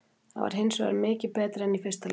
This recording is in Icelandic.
Þetta var hinsvegar mikið betra en í fyrsta leiknum.